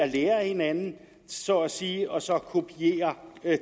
lære af hinanden så at sige og så kopiere